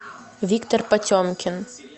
виктор потемкин